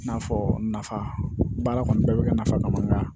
I n'a fɔ nafa baara kɔni bɛɛ bɛ ka nafa ka bɔ n kan